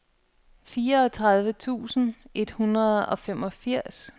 fireogtredive tusind et hundrede og femogfirs